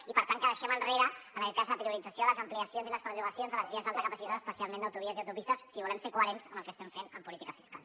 i per tant que deixem enrere la priorització de les ampliacions i les prolongacions de les vies d’alta capacitat especialment d’autovies i autopistes si volem ser coherents amb el que estem fent en política fiscal